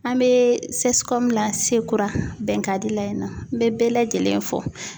An mɛ CSCOM la Sekura Bɛnkadi la in nɔ n bɛ bɛɛ lajɛlen fo.